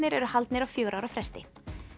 eru haldnir á fjögurra ára fresti